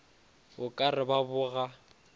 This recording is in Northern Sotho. o ka re ba boga